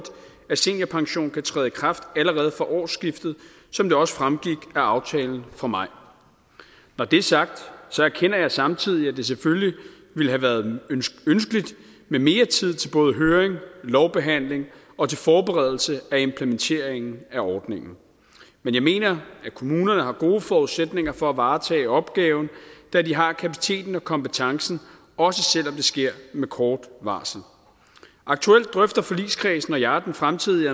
at seniorpension kan træde i kraft allerede fra årsskiftet som det også fremgik af aftalen fra maj når det er sagt erkender jeg samtidig at det selvfølgelig ville have været ønskeligt med mere tid til både høring lovbehandling og til forberedelse af implementeringen af ordningen men jeg mener at kommunerne har gode forudsætninger for at varetage opgaven da de har kapaciteten og kompetencen også selv om det sker med kort varsel aktuelt drøfter forligskredsen og jeg den fremtidige